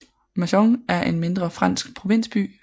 Mâcon er en mindre fransk provinsby